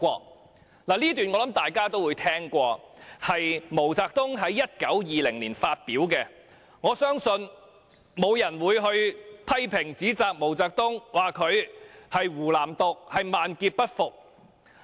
"我想這段話大家也曾聽聞，是毛澤東在1920年發表的，我相信沒有人會批評或指責毛澤東，說他鼓吹"湖南獨"，要他萬劫不復。